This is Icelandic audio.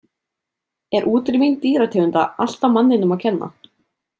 Er útrýming dýrategunda alltaf manninum að kenna?